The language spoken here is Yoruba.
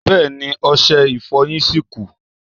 Bẹ́ẹ̀ni, ọṣẹ Ìfọ̀yín ṣì kù